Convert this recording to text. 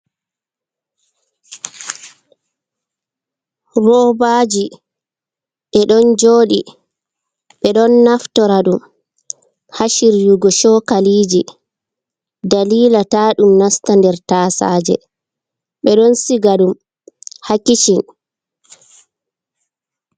Roobaji ɓe don jodi ɓe don naftora ɗum ha shiryugo sokaliji dalila ta ɗum nasta nɗer tasaje ɓe don siga ɗum ha kisin.